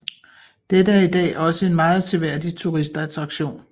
Dette er i dag også en meget seværdig turistattraktion